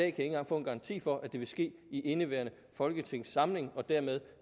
ikke engang få en garanti for at det vil ske i indeværende folketingssamling og dermed